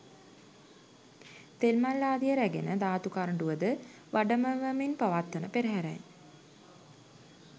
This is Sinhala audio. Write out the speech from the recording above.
තෙල් මල් ආදිය රැගෙන ධාතු කරඬුවද වඩමවමින් පවත්වන පෙරහරයි.